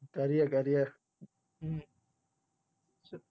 કરીયે કરીયે